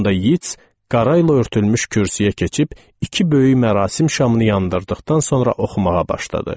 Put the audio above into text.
Sonda Yeats qarayla örtülmüş kürsüyə keçib iki böyük mərasim şamını yandırdıqdan sonra oxumağa başladı.